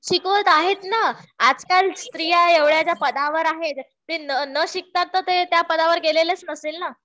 शिकवत आहेत ना. आजकाल स्त्रिया एवढ्या ज्या पदावर आहेत. ते न शिकता तर त्या पदावर गेलेल्याच नसेल ना.